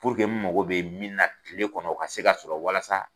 n mago bɛ min na kile kɔnɔ o ka se ka sɔrɔ walasa